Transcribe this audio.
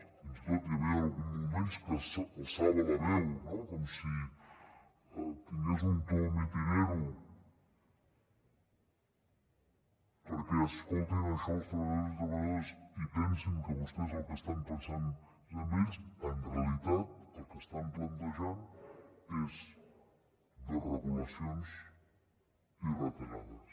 fins i tot hi havia alguns moments que alçava la veu no com si tingués un to mitinero perquè escoltin això els treballadors i treballadores i pensin que vostès en el que estan pensant és en ells en realitat el que estan plantejant és desregulacions i retallades